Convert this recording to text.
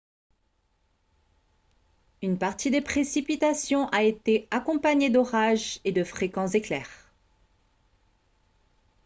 une partie des précipitations a été accompagnée d'orages et de fréquents éclairs